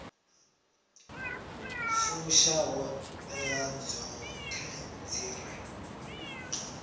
fusha ṱhoḓea dzoṱhe dzi re